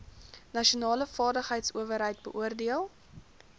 nasionale vaardigheidsowerheid beoordeel